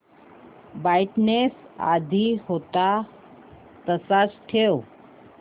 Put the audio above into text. brightness आधी होता तसाच ठेव